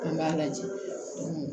An b'a lajɛ